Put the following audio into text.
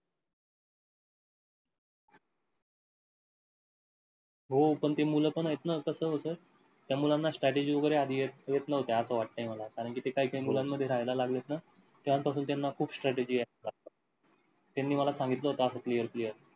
हो पण ती मूल पण आहेत ना, कसं होत त्या मुलांना strategies वगैरे आधी येत नव्हत्या असं वाटतंय मला कारण कि ते काही काही मुलांन मध्ये राहिला लागलेत ना तेव्हापासून त्यांना खूप strategies येई लागल्या. त्यांनी मला सांगितल होत असं clear clear